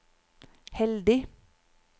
heldig